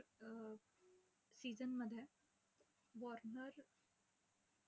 अं season मध्ये Warner अं